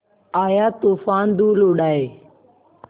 आया तूफ़ान धूल उड़ाए